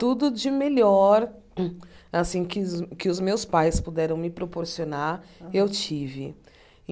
Tudo de melhor assim que os que os meus pais puderam me proporcionar, eu tive.